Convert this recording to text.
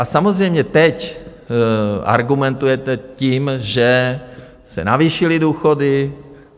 A samozřejmě teď argumentujete tím, že se navýšily důchody.